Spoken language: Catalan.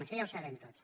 això ja ho sabem tots